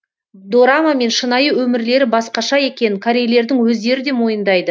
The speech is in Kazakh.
дорама мен шынайы өмірлері басқаша екенін корейлердің өздері де мойындайды